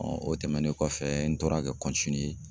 o tɛmɛnen kɔfɛ n tora ka